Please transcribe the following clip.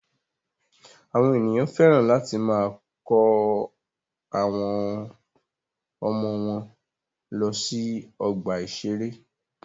Àwọn ènìyàn féràn láti máa kọ́ àwọn ọmọ wọ́n lọ sí ọgbà ìṣẹ̀rẹ́.